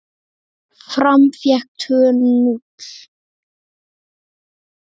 Fram fékk tvö núll!